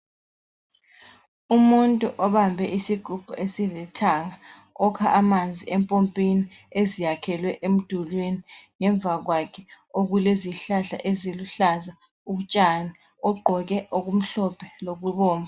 Umuntu obambe isigubhu esilithanga, okha amanzi empompini eziyakhelwe emdulwini ngemva kwakhe okulezihlahla eziluhlaza utshani, ogqoke okumhlophe lokubomvu